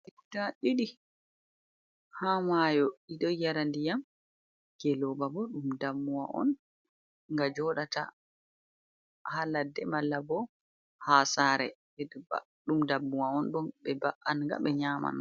Geloba guda ɗiɗi ha mayo ɗiɗo yara ndiyam ngeloba bo ɗum dammuwa on nga joɗata ha ladde, malla bo ha sare, ɗiɗi pat ɗum dammuwa on ɗum be ɓa’anga be nyaman.